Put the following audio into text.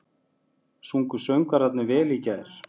Sungu söngvararnir vel í gær?